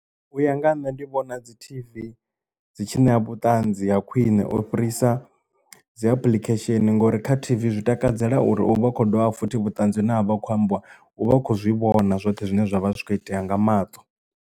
U ya nga ha nṋe ndi vhona dzi T_V dzi tshi ṋea vhutanzi ha khwiṋe u fhirisa dzi application ngori kha TV zwi takadzela uri u vha kho dovha futhi vhuṱanzi na vha kho ambiwa u vha khou zwi vhona zwoṱhe zwine zwavha zwi kho itea nga maṱo.